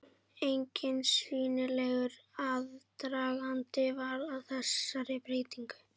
Enginn sýnilegur aðdragandi var að þessari breytingu.